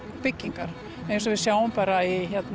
byggingar eins og við sjáum bara